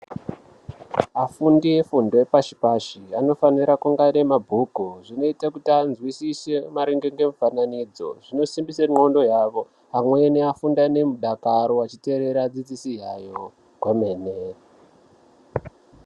Afundi efundo yepashi pashi anofanire kunge aine mabhuku zvinoite kuti anzwisise maringe ngemufananidzo zvinosimbise ndxondo yawo amweni afunde ane mudakaro achiteerera adzidzisi yayo kwemene.